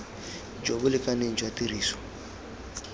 jo bo lekaneng jwa tiriso